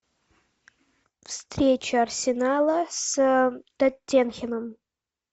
встреча арсенала с тоттенхэмом